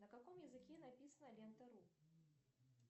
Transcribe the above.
на каком языке написана лента ру